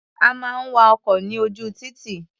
A máa ń wa ọkọ̀ ní ojú títì.